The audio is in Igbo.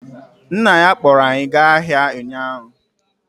Nna ya kpụrụ anyị gaa ahịa ụnyaahụ.